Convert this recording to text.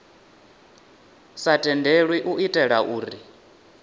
sa tendelwi u itela uri